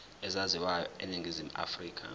ezaziwayo eningizimu afrika